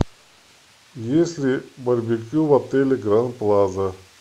есть ли барбекю в отеле гранд плаза